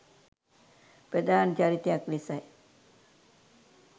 ප්‍රධාන චරිතයක් ලෙසයි